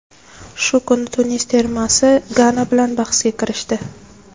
Shu kuni Tunis termasi Gana bilan bahsga kirishdi.